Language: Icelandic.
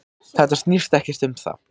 Þetta snýst ekkert um það.